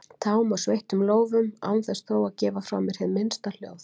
tám og sveittum lófum án þess þó að gefa frá mér hið minnsta hljóð.